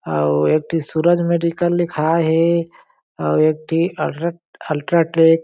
अउ एक ठी सूरज मेडिकल लिखा हे और एक ठी अलर्क अल्ट्रा टेक --